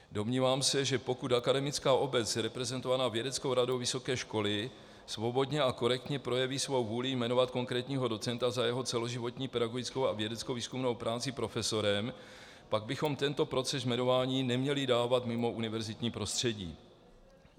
Domnívám se, že pokud akademická obec reprezentovaná vědeckou radou vysoké školy svobodně a korektně projeví svou vůli jmenovat konkrétního docenta za jeho celoživotní pedagogickou a vědeckovýzkumnou práci profesorem, pak bychom tento proces jmenování neměli dávat mimo univerzitní prostředí.